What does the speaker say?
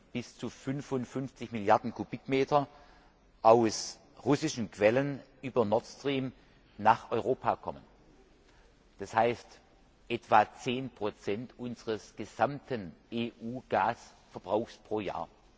Dann werden bis zu 55 Milliarden Kubikmeter Gas aus russischen Quellen über Nord Stream nach Europa kommen, das heißt etwa 10 unseres gesamten EU Gasverbrauchs pro Jahr.